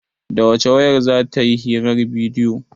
Da wace wayar za ta yi hirar bidiyo?